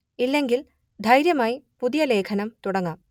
ഇല്ലെങ്കിൽ ധൈര്യമായി പുതിയ ലേഖനം തുടങ്ങാം